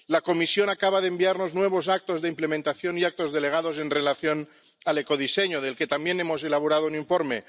La Comisión acaba de enviarnos nuevos actos de implementación y actos delegados en relación con el ecodiseño, del que también hemos elaborado un informe.